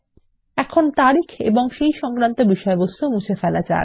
এখন তারিখ এবং তার বিষয়বস্তু মুছে ফেলা যাক